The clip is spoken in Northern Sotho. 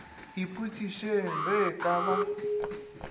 ipotšišeng ge e ka ba